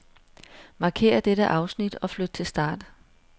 Markér dette afsnit og flyt til start.